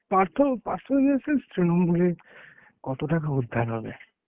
পার্থ পার্থ ইয়ে sense তৃণমূলে কত টাকা উদ্ধার হবে.